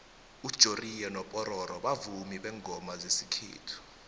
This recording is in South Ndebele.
ujoriyo nopororo bavumi bengoma zesikhethu